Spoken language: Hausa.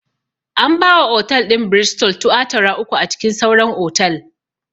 An ba wa otal ɗin 'Bristol' tuatara uku a cikin sauran otal